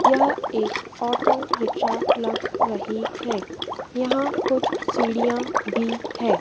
यह एक auto rickshaw लग रही है यहां कुछ सीढ़ियां भी है।